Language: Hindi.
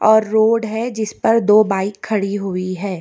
और रोड है जिस पर दो बाइक खड़ी हुई है।